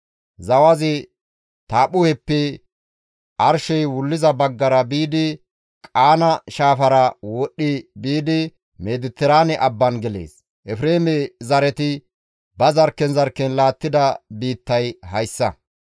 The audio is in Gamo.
Zawazi Taaphphuheppe arshey wulliza baggara biidi Qaana shaafara wodhdhi biidi Mediteraane abban gelees. Efreeme zareti ba zarkken zarkken laattida biittay hayssa.